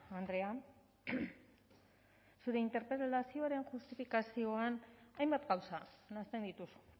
andrea zure interpelazioaren justifikazioan hainbat gauza nahasten dituzu